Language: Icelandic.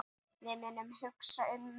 Við munum hugsa um mömmu.